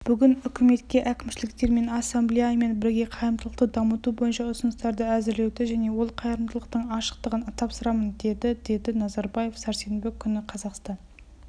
бүгін үкіметке әкімшіліктермен ассамблеямен бірге қайырымдылықты дамыту бойынша ұсыныстарды әзірлеуді және ол қайырымдылықтың ашықтығын тапсырамын деді деді назарбаев сәрсенбі күні қазақстан